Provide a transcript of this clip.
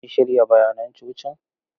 An shirya bayanan cocin?